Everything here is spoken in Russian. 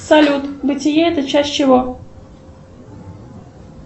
салют бытие это часть чего